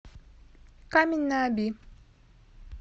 камень на оби